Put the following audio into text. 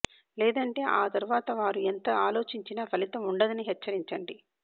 లేదంటే ఆ తరువాత వారు ఎంత ఆలోచించినా ఫలితం ఉండదని హెచ్చరించండి